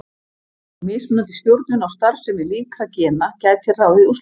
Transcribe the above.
Mismunandi stjórnun á starfsemi líkra gena gæti ráðið úrslitum.